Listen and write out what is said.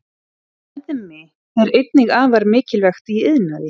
Beðmi er einnig afar mikilvægt í iðnaði.